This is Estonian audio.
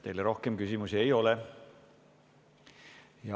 Teile rohkem küsimusi ei ole.